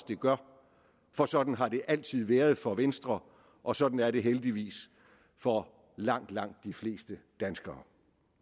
det gør for sådan har det altid været for venstre og sådan er det heldigvis for langt langt de fleste danskere